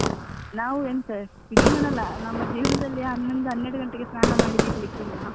ನಾವು ಎಂತ ಇಡೀ ದಿನ ಅಲ್ಲಾ ನಮ್ಮ ಜೀವನದಲ್ಲಿ ಹನ್ನೊಂದು ಹನ್ನೆರೆಡು ಗಂಟೆಗೆ ಸ್ನಾನ ಮಾಡಿದ್ದು ಇರ್ಲಿಕ್ಕಿಲ್ಲ.